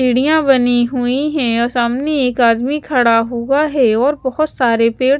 सीढ़ियां बनी हुई है और सामने एक आदमी खड़ा हुआ है और बहुत सारे पेड़।